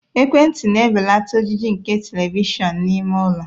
Ekwentị na-ebelata ojiji nke Televishọn n'ime ụlọ.